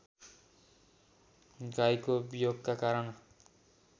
गाईको वियोगका कारण